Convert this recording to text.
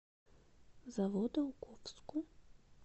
заводоуковску